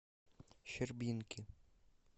щербинки